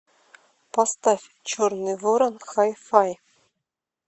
поставь черный ворон хай фай